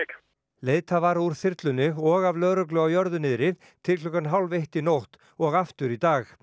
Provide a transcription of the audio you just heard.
leitað var úr þyrlunni og af lögreglu á jörðu niðri til klukkan hálf eitt í nótt og aftur í dag